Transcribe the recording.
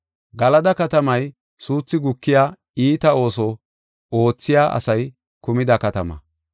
Galada katamay suuthi gukiya iita ooso oothiya asay kumida katama.